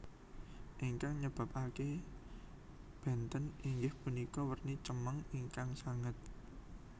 Ingkang nyebabake benten inggih punika werni cemeng ingkang sanget